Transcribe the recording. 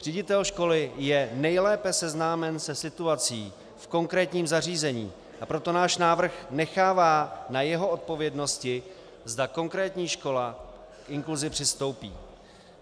Ředitel školy je nejlépe seznámen se situací v konkrétním zařízení, a proto náš návrh nechává na jeho odpovědnosti, zda konkrétní škola k inkluzi přistoupí.